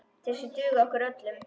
Þessir duga okkur öllum.